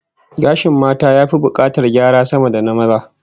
Gashin mata ya fi bukatar gyara sama da na maza